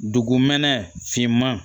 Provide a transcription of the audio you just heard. Dugumɛnɛ finman